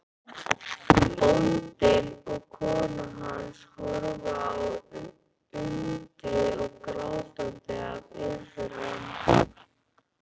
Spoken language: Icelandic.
Bóndi og kona hans horfa á undrið, grátandi af iðran.